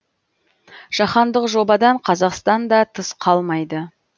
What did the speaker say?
жаһандық жобадан қазақстан да тыс қалмайды